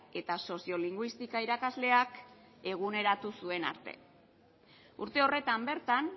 eta soziolinguistika irakasleak eguneratu zuen arte urte horretan bertan